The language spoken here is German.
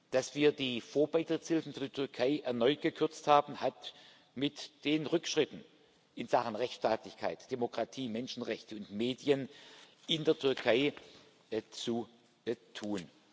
Dass wir die Vorbeitrittshilfen für die Türkei erneut gekürzt haben, hat mit den Rückschritten in Sachen Rechtsstaatlichkeit, Demokratie, Menschenrechte und Medien in der Türkei zu tun.